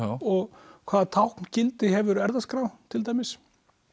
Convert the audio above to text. og hvaða hefur erfðaskrá til dæmis